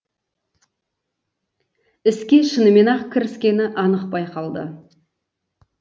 іске шынымен ақ кіріскені анық байқалды